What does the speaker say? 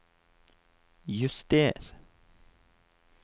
juster